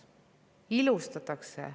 Ilustatakse.